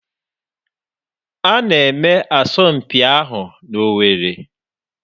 A na-eme asọmpi ahụ n'Owerri